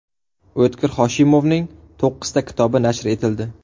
O‘tkir Hoshimovning to‘qqizta kitobi nashr etildi.